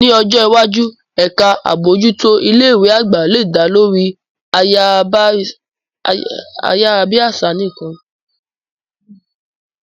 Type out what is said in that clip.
Ní ọjọ́ iwájú, ẹ̀ka àbójútó ilé ìwé àgbà lè dá lórí ayárabíàṣá nìkan.